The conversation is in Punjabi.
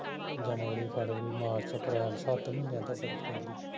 ਜਨਵਰੀ ਫਰਵਰੀ ਮਾਰਚ ਅਪਰੈਲ ਸਤ ਮਹੀਨਿਆਂ ਤਕ ਬਰਫ ਪੈਂਦੀ ਐ